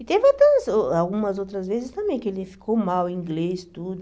E teve outras uh algumas outras vezes também que ele ficou mal, inglês, tudo.